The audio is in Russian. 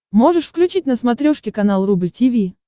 можешь включить на смотрешке канал рубль ти ви